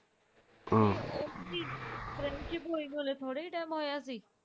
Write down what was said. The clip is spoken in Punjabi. friendship ਹੋਇ ਨੂੰ ਹਲ਼ੇ ਥੋੜਾ ਹੀ time ਹੋਇਆ ਸੀ